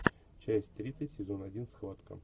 часть тридцать сезон один схватка